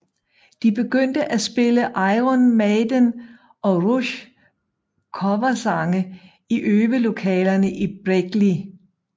De begyndte at spille Iron Maiden og Rush coversange i øvelokalerne i Berklee